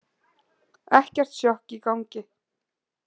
Ekkert sjokk í gangi.